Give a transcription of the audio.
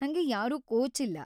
ನಂಗೆ ಯಾರೂ ಕೋಚ್ ಇಲ್ಲ.